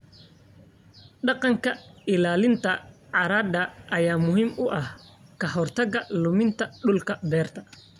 Dhaqanka ilaalinta carrada ayaa muhiim u ah ka hortagga luminta dhul-beereed.